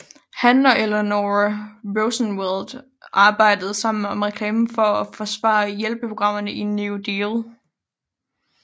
Han og Eleanor Roosevelt arbejdede sammen om at reklamere for og forsvare hjælpeprogrammerne i New Deal